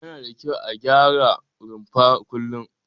Yana da kyau a gyara rumfa kullum.